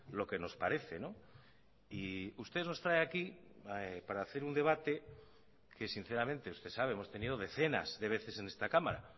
lo que nos parece y usted nos trae aquí para hacer un debate que sinceramente usted sabe hemos tenido decenas de veces en esta cámara